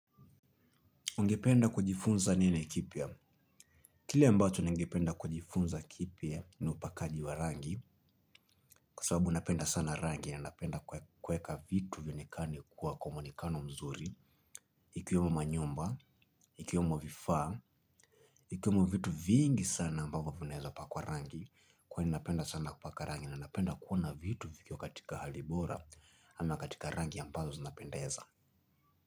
Ungependa kujifunza nini kipya? Kile ambacho ningependa kujifunza kipya ni upakaji wa rangi kwa sawabu napenda sana rangi na napenda kueka vitu vionekane kuwa kwa muonekano mzuri ikiwemo manyumba, ikiwemo vifaa ikiwemo vitu vingi sana ambavyo vineza pakwa rangi kwani napenda sana kupaka rangi na napenda kuona vitu vikiwa katika hali bora ama katika rangi ambazo zinapendeza.